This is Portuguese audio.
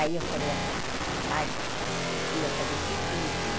Aí eu falei assim, pai, que ia fazer tudo bonitinho.